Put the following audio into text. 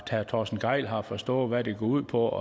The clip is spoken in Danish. torsten gejl har forstået hvad det går ud på